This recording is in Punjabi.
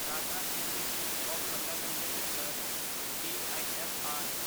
Tata institute of fundamental research TIFR